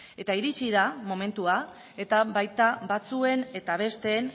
eta iritsi da momentua eta baita batzuen eta besteen